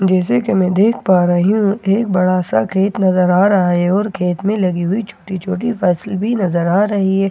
जैसे कि मैं देख पा रही हूं एक बड़ा सा गेट नजर आ रहा है और गेट में लगी हुई छोटी छोटी भी नज़र आ रही है और--